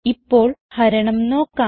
ഇപ്പോൾ ഹരണം നോക്കാം